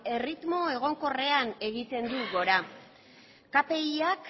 erritmo egonkorrean egiten du gora kpiak